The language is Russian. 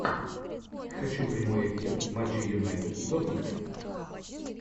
хочу прямой эфир матча юнайтед и тоттенхэм